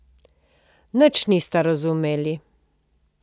Nič nista razumeli.